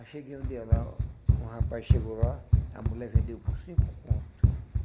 Aí cheguei um dia lá, um rapaz chegou lá, a mulher vendeu por cinco conto.